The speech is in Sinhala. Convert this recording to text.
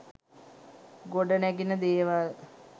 ගොඩ නැගෙන දේවල්.